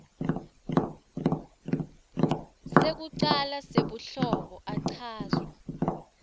sekucala sebuhlobo achazwa